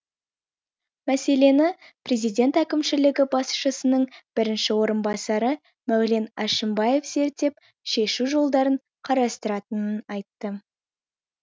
мәселені президент әкімшілігі басшысының бірінші орынбасары мәулен әшімбаев зерттеп шешу жолдарын қарастыратынын айтты